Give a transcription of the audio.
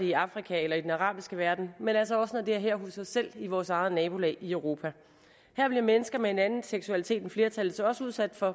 i afrika eller den arabiske verden men altså også når det er her hos os selv i vores eget nabolag i europa her bliver mennesker med en anden seksualitet end flertallets også udsat for